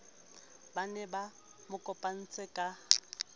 ba ne ba mokopanetse ka